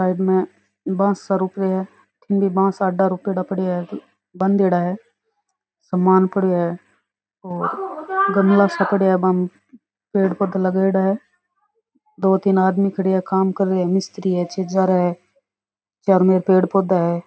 Side में बॉसा रोप रिया है की बांसा आडा रोप्योड़ा है बान्देड़ा है सामान पड़ेयो है और गमला सा पड़ेया है बामे पेड़ पौधा लगाईडा है दो तीन आदमी खड़ेया है काम कर रिया है मिस्त्री है छेजारा है चारो मेर पेड़ पौधा है।